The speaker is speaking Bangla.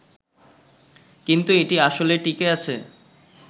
কিন্তু এটি আসলে টিঁকে আছে